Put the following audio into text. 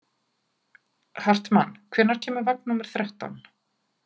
Hartmann, hvenær kemur vagn númer þrettán?